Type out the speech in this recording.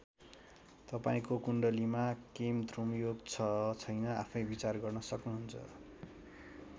तपाईँंको कुण्डलीमा केमद्रुम योग छ छैन आफैं विचार गर्न सक्नुहुन्छ।